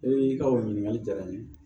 I ka o ɲininkali jara n ye